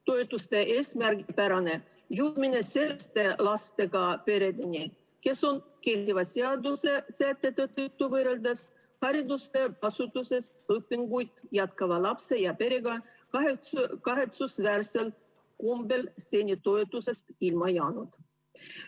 Toetused juhitakse eesmärgipäraselt selliste lastega peredeni, kes on kehtiva seaduse sätete tõttu, võrreldes haridusasutuses õpinguid jätkava lapse ja tema perega, kahetsusväärsel kombel seni toetusest ilma jäänud.